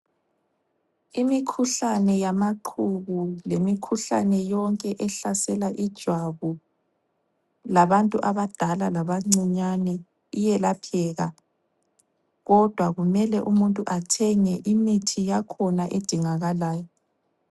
Imikhuhlane yamaqhubu lemikhuhlane yonke ehlasela ijwabu, labantu abadala labancinyane iyelapheka. Kodwa kumele umuntu athenge imithi yakhona edingakalayo.